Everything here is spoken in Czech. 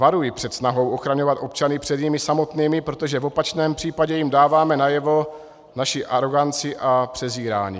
Varuji před snahou ochraňovat občany před nimi samotnými, protože v opačném případě jim dáváme najevo naši aroganci a přezírání.